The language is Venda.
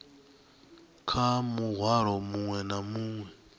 kha muhwalo muṅwe na muṅwe